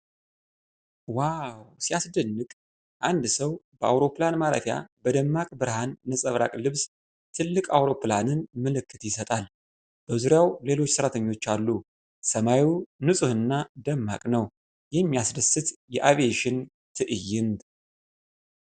ዋው ሲያስደንቅ! አንድ ሰው በአውሮፕላን ማረፊያ በደማቅ ብርሃን ነጸብራቅ ልብስ ትልቅ አውሮፕላንን ምልክት ይሰጣል። በዙሪያው ሌሎች ሰራተኞች አሉ። ሰማዩ ንፁህና ደማቅ ነው። የሚያስደስት የአቪዬሽን ትዕይንት!